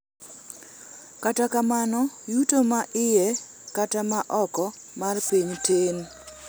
kata kamano, yuto ma iye kata ma oko mar piny tin